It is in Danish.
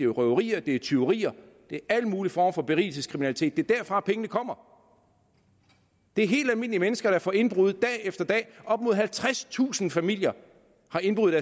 røverier tyverier alle mulige former for berigelseskriminalitet det er derfra pengene kommer det er helt almindelige mennesker der får indbrud dag efter dag op mod halvtredstusind familier får indbrud i